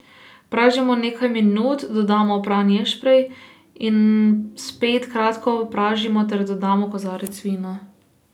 Pražimo nekaj minut, dodamo opran ješprenj in spet kratko pražimo ter dodamo kozarec vina.